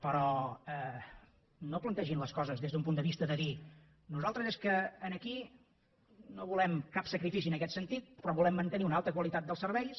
però no plantegin les coses des d’un punt de vista de dir nosaltres és que aquí no volem cap sacrifici en aquest sentit però volem mantenir una alta qualitat dels serveis